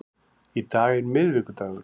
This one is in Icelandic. Í dag er miðvikudagur.